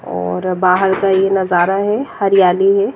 और बाहर का ये नजारा है हरियाली है।